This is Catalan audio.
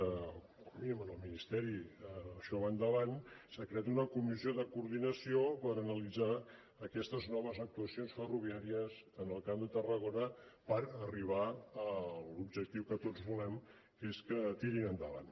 com a mínim en el ministeri això va endavant s’ha creat una comissió de coordinació per analitzar aquestes noves actuacions ferroviàries en el camp de tarragona per arribar a l’objectiu que tots volem que és que tirin endavant